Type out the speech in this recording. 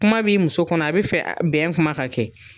Kuma b'i muso kɔnɔ a bɛ fɛ bɛn kuma ka kɛ